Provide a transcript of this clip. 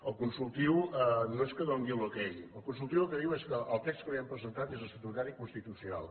el consultiu no és que doni l’ok el consultiu el que diu és que el text que li hem presentat és estatutari i constitucional